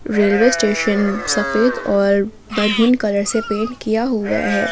Railway station सफेद और maroon colour से पेंट किया हुआ है।